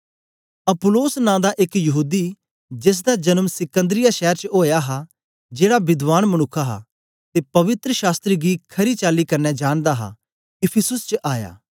Apollos नां दा एक यहूदी जेसदा जन्म सिकन्दरिया शैर च ओया हा जेड़ा विद्वान मनुक्ख हा ते पवित्र शास्त्र गी खरी चाली कन्ने जानदा हा इफिसुस च आया